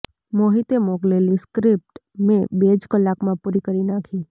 મોહિતે મોકલેલી સ્ક્રિપ્ટ મેં બે જ કલાકમાં પૂરી કરી નાખી